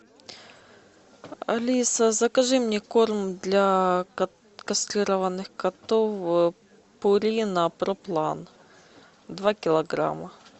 алиса закажи мне корм для кастрированных котов пурина про план два килограмма